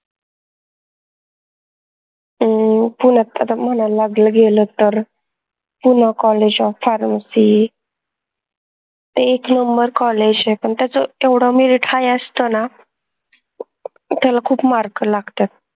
अं पुन्यात तस म्हनाल लागलं गेलं तर PoonaCollegeofPharmacy एक numberCollege आय पन त्याच एवढा merit high असतो ना त्याला खूप mark लागतात